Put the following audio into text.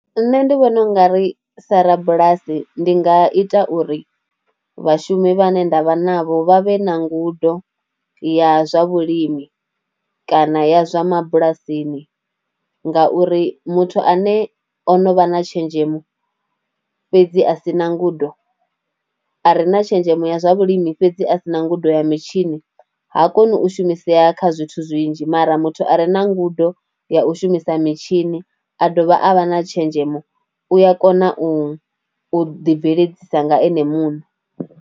Nṋe ndi vhona u nga ri sa rabulasi ndi nga ita uri vhashumi vhane nda vha navho vha vhe na ngudo ya zwa vhulimi kana ya zwa mabulasini ngauri muthu ane o no vha na tshenzhemo fhedzi a si na ngudo, a re na tshenzhemo ya zwa vhulimi fhedzi a si na ngudo ya mitshini ha koni u shumisea kha zwithu zwinzhi mara muthu a re na ngudo ya u shumisa mitshini a dovha a vha na tshenzhemo u a kona u ḓibveledzisa nga ene muṋe.